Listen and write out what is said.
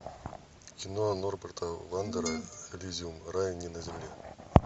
кино норберта вандера элизиум рай не на земле